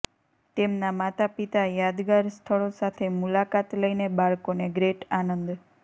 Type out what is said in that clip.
તેમના માતાપિતા યાદગાર સ્થળો સાથે મુલાકાત લઇને બાળકોને ગ્રેટ આનંદ